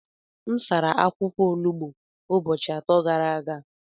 M sara akwụkwọ olugbo ụbọchị atọ gara aga.